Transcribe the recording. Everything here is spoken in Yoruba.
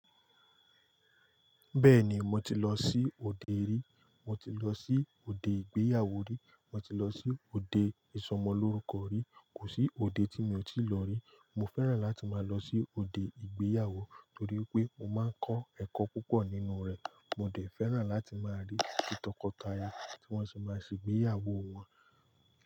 Bẹ́ẹ̀ni, mo ti lọ sí òde rí, mo ti lọ sí òde ìgbéyàwó rí, mo ti lọ sí òde ìsọmọlórúkọ rí. Kò sí òde tí mi ò tíì lọ rí. Mo fẹ́ràn láti máa lọ sí òde ìgbéyàwó torí pé mo máa ń kọ́ ẹ̀kọ́ púpọ̀ nínú rẹ̀. Mo dẹ̀ fẹ́ràn láti máa rí ìtọkọtaya tí wọ́n ti máa ṣe ìgbéyàwó wọn.